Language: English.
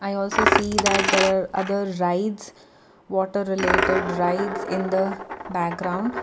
i also see that there are other rides water related rides in the background.